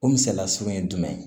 O misaliya surun ye jumɛn ye